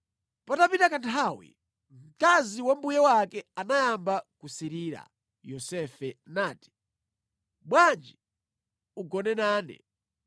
Patapita kanthawi, mkazi wa mbuye wake anayamba kusirira Yosefe nati, “Bwanji ugone nane!”